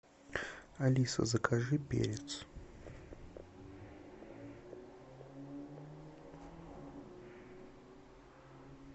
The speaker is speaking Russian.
алиса закажи перец